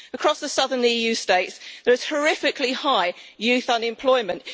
Across the southern EU states there is horrifically high youth unemployment.